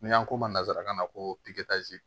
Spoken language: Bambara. N'an ko ma nanzarakan na ko